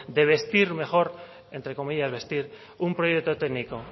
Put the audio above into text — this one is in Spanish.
de vestir mejor entre comillas vestir un proyecto técnico